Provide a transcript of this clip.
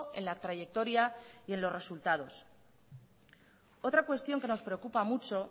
en la trayectoria y en los resultados otra cuestión que nos preocupa mucho